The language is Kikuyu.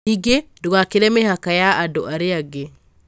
Ningĩ, ndugakĩre mĩhaka ya andũ arĩa angĩ.